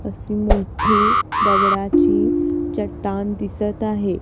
अशी मोठे दगडाची चट्टान दिसतं आहे.